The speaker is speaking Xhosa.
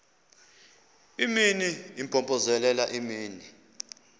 imini impompozelela imini